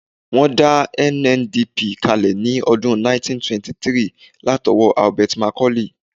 Wọ́n dá NNDP kalẹ̀ ní ọdún 1923 látọwọ́ Herbert Macaulay